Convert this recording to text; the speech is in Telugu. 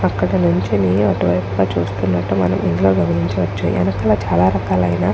పక్కకి నించుని అటు వైపుగా చూస్తునట్టు మనం ఇందులో గమనించవచ్చు. వీటిలో చాలా రకాలు ఐనా --